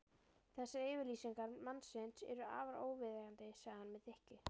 Þessar yfirlýsingar mannsins eru afar óviðeigandi sagði hann með þykkju.